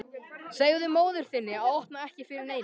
Segðu móður þinni að opna ekki fyrir neinum.